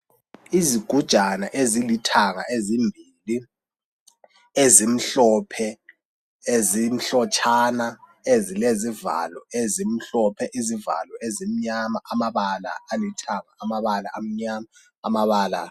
Izigujana ezilithanga ezimbili, ezimhlophe, ezimhlotshana ezilezivalo ezimhlophe izivalo ezimnyama, amabala alithanga, amabala amnyama, amabala.